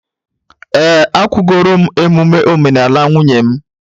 Ee, akwụgoro m emume omenala nwunye m